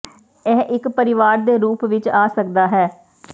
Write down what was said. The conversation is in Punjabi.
ਇਹ ਇੱਕ ਪਰਿਵਾਰ ਦੇ ਰੂਪ ਵਿੱਚ ਆ ਸਕਦਾ ਹੈ